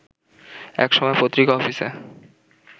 একসময় পত্রিকা অফিসে